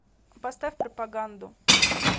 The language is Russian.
поставь пропаганду